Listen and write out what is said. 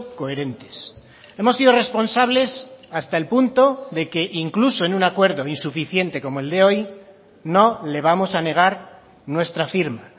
coherentes hemos sido responsables hasta el punto de que incluso en un acuerdo insuficiente como el de hoy no le vamos a negar nuestra firma